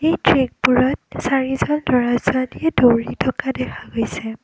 চাৰিজন ল'ৰা ছোৱালীয়ে দৌৰি থকা দেখা গৈছে।